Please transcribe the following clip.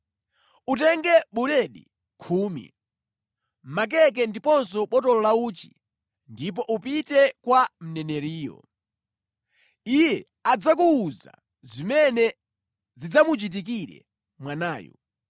Utenge buledi khumi, makeke ndiponso botolo la uchi ndipo upite kwa mneneriyo. Iye adzakuwuza zimene zidzamuchitikire mwanayu.”